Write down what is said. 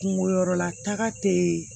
Kungo yɔrɔla taga tɛ